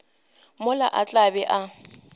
mola a tla be a